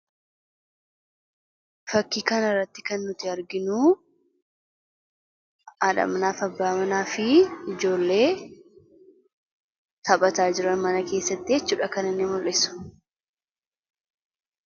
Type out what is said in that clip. Fakkii kanarraatti kan nuti arginuu haadha manaf abbaa manaafi ijoollee taphataa jiran mana keessattii jechuudha kan inni mul'isu.